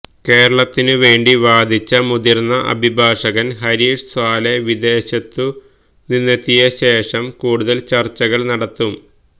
കേരളത്തിനുവേണ്ടി വാദിച്ച മുതിര്ന്ന അഭിഭാഷകന് ഹരീഷ് സാല്വെ വിദേശത്തു നിന്നെത്തിയ ശേഷം കൂടുതല് ചര്ച്ചകള് നടത്തും